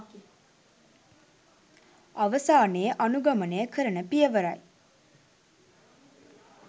අවසානයේ අනුගමනය කරන පියවරයි.